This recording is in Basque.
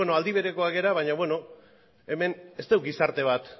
aldi berekoak gara baina beno hemen ez dugu gizarte bat